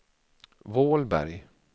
Vålberg